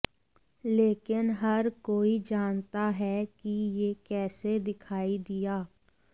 लेकिन हर कोई जानता है कि यह कैसे दिखाई दिया